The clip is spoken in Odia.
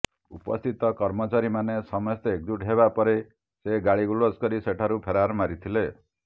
ଉପସ୍ଥିତ କର୍ମଚାରୀମାନେ ସମସ୍ତେ ଏକଜୁଟ ହେବା ପରେ ସେ ଗାଳିଗୁଲଜ କରି ସେଠାରୁ ଫେରାର ମାରିଥିଲେ